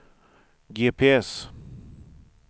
GPS